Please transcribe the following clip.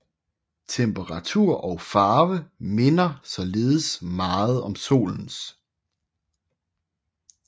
Temperatur og farve minder således meget om Solens